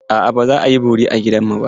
A'a, ba za a yi bori a gidanmu ba.